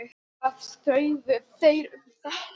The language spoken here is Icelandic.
Hvað sögðu þeir um þetta?